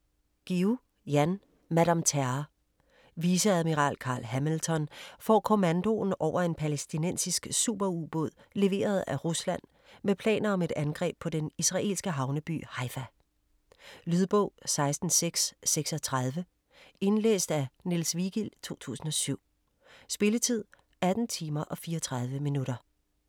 Guillou, Jan: Madame Terror Viceadmiral Carl Hamilton får kommandoen over en palæstinensisk superubåd leveret af Rusland med planer om et angreb på den israelske havneby Haifa. Lydbog 16636 Indlæst af Niels Vigild, 2007. Spilletid: 18 timer, 34 minutter.